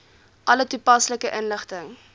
alle toepaslike inligting